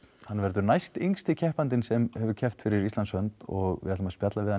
hann verður næst yngsti keppandinn sem hefur keppt fyrir Íslands hönd og við ætlum að spjalla við hann